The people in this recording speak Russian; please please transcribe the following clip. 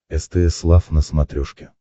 стс лав на смотрешке